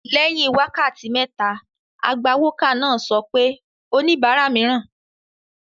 Lẹ́yìn wákàtí méta, agbawókà náà sọ pé ' oníbàárà mìíràn